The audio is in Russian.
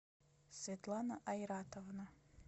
светлана айратовна